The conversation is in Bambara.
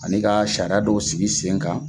Ani ka sariya dɔw sigi sen kan.